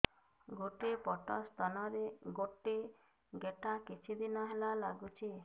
ଗୋଟେ ପଟ ସ୍ତନ ରେ ଗୋଟେ ଗେଟା କିଛି ଦିନ ହେଲା ଲାଗୁଛି